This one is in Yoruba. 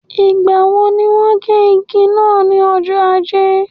Ìgbà wo ní wọ́n gé igi náà ní ọjọ́ ajé?